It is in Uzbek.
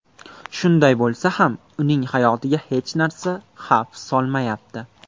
Shunday bo‘lsa ham, uning hayotiga hech narsa xavf solmayapti.